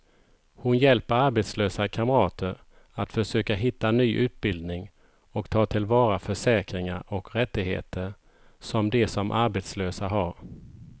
Hon hjälper arbetslösa kamrater att försöka hitta ny utbildning och ta till vara försäkringar och rättigheter som de som arbetslösa har.